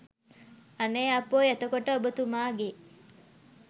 අනේ අපොයි එතකොට ඔබතුමාගේ